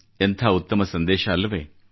ಎಂಥ ಉತ್ತಮ ಸಂದೇಶವಲ್ಲವೇ